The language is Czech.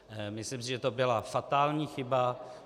Myslím si, že to byla fatální chyba.